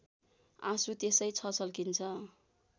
आँसु त्यसै छचल्किन्छ